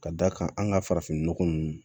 Ka d'a kan an ka farafinnɔgɔ ninnu